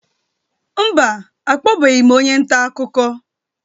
Mba, akpọbeghị m onye nta akụkọ